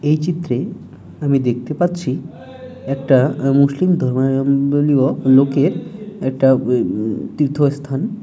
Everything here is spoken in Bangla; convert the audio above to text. এই চিত্রে আমি দেখতে পাচ্ছি একটা মুসলিম ধর্মীয় ওম বলিও লোকের একটা ওয়েব তীর্থস্থান ।